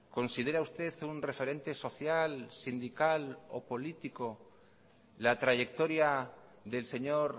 considera usted un referente social sindical o político la trayectoria del señor